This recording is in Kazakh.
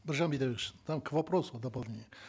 біржан бидайбекович там к вопросу дополнение